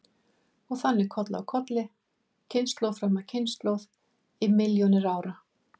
Og þannig koll af kolli, kynslóð fram af kynslóð í milljónir ára.